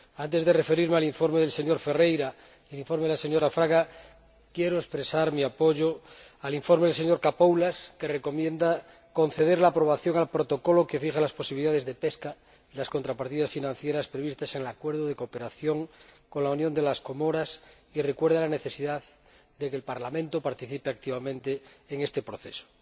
Antes de referirme al informe del señor Ferreira y al informe de la señora Fraga Estévez, quiero expresar mi apoyo al informe del señor Capoulas Santos, que recomienda conceder la aprobación al Protocolo que fija las posibilidades de pesca y las contrapartidas financieras previstas en el Acuerdo de colaboración con la Unión de las Comoras, y recuerda la necesidad de que el Parlamento participe activamente en este proceso.